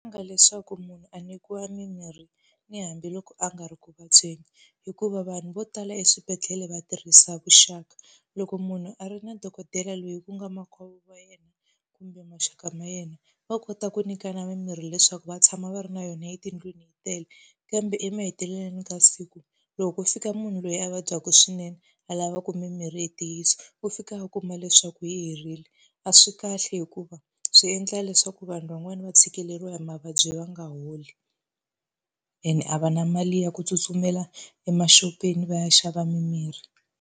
Leswaku munhu a nyikiwa mimirhi ni hambiloko a nga ri ku vabyeni, hikuva vanhu vo tala eswibedhlele va tirhisa vuxaka. Loko munhu a ri na dokodela loyi ku nga makwavo wa yena kumbe maxaka ma yena, va kota ku nyikana mimirhi leswaku va tshama va ri na yona etindlwini yi tele. Kambe emahetelelweni ka siku loko ko fika munhu loyi a vabyaka swinene a lava ku mimirhi hi ntiyiso, u fika ku va leswaku yi herile. A swi kahle hikuva swi endla leswaku vanhu van'wani va tshikeleriwa hi mavabyi va nga holi. Ene a va na mali ya ku tsutsumela emaxopeni va ya xava mimirhi.